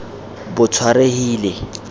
botshwarehile